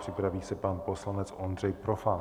Připraví se pan poslanec Ondřej Profant.